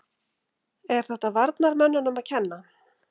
Er þetta varnarmönnunum að kenna?